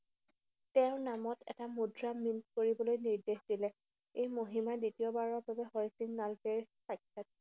তেওঁৰ নামত এটা মুদ্ৰা mint কৰিবলৈ নিৰ্দেশ দিলে। এই মহিমা দ্বিতীয়বাৰৰ বাবে হৰি সিং নলৱাই